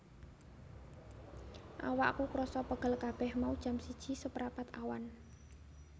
Awakku kroso pegel kabeh mau jam siji seprapat awan